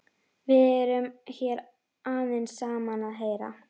Við erum hér aðeins saman að heyra.